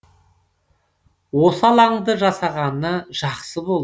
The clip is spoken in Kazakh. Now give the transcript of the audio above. осы алаңды жасағаны жақсы болды